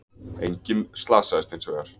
Enginn slasaðist hins vegar